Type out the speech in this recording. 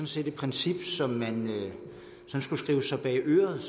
set et princip som man skulle skrive sig bag øret